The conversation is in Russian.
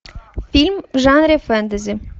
фильм в жанре фэнтези